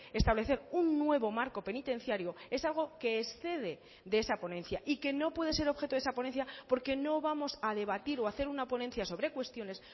establecer un nuevo marco penitenciario es algo que excede de esa ponencia y que no puede ser objeto de esa ponencia porque no vamos a debatir o hacer una ponencia sobre cuestiones